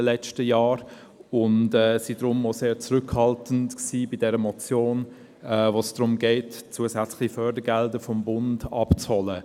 Deshalb waren wir auch sehr zurückhaltend bei dieser Motion, bei der es darum geht, zusätzliche Fördergelder beim Bund abzuholen.